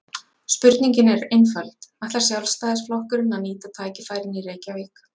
Spurningin er einföld: Ætlar Sjálfstæðisflokkurinn að nýta tækifærin í Reykjavík?